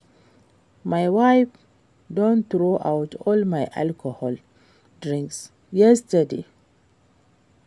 My wife don throw out all my alcoholic drinks yesterday